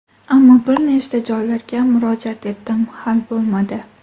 Ammo bir nechta joylarga murojaat etdim, hal bo‘lmadi.